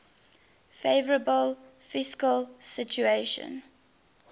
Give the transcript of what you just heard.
favourable fiscal situation